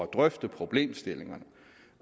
drøfte problemstillingerne